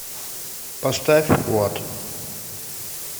поставь вот